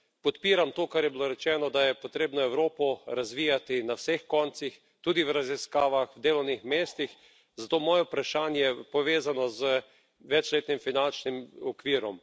Podpiram to, kar je bilo rečeno, da je potrebno Evropo razvijati na vseh koncih, tudi v raziskavah, delovnih mestih, zato je moje vprašanje povezano z večletnim finančnim okvirom.